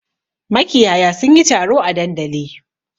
Makiyaya sun yi taro a dandali.